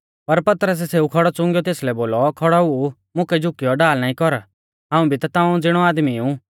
पर पतरसै सेऊ खौड़ौ चुंगिऔ तेसलै बोलौ खौड़ौ ऊ मुकै झुकियौ ढाल नाईं कर हाऊं भी ता ताऊं ज़िणी आदमी ऊ